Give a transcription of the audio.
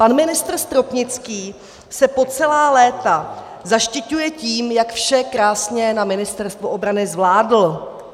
Pan ministr Stropnický se po celá léta zaštiťuje tím, jak vše krásně na Ministerstvu obrany zvládl.